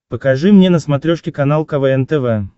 покажи мне на смотрешке канал квн тв